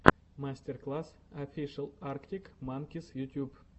мастер класс офишел арктик манкис ютуб